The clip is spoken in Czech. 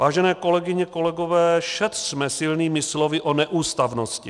Vážené kolegyně, kolegové, šetřme silnými slovy o neústavnosti.